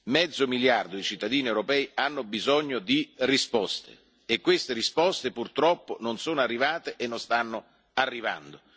Mezzo miliardo di cittadini europei hanno bisogno di risposte e queste risposte purtroppo non sono arrivate e non stanno arrivando.